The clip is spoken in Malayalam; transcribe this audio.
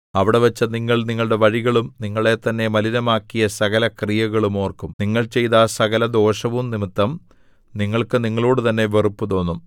അവിടെവച്ചു നിങ്ങൾ നിങ്ങളുടെ വഴികളും നിങ്ങളെത്തന്നെ മലിനമാക്കിയ സകലക്രിയകളും ഓർക്കും നിങ്ങൾ ചെയ്ത സകലദോഷവും നിമിത്തം നിങ്ങൾക്ക് നിങ്ങളോടുതന്നെ വെറുപ്പുതോന്നും